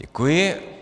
Děkuji.